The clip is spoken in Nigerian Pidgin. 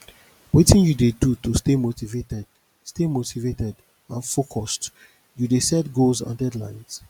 wetin you dey do to stay motivated stay motivated and focused you dey set goals and deadlines